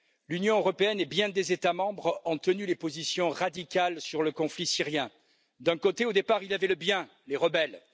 L'Union européenne et bien des États membres ont tenu des positions radicales sur le conflit syrien. D'un côté, au départ, il y avait le bien les rebelles